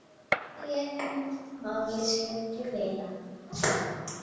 Svo sneri hún máli sínu til vinanna.